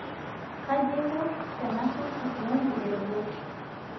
kaji aiko tenaisuj kifyonzi ee roboti